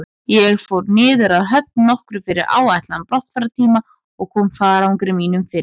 Ég fór niður að höfn nokkru fyrir áætlaðan brottfarartíma og kom farangri mínum fyrir.